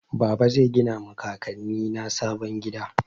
Baba zai gina ma kakanni na sabon gida.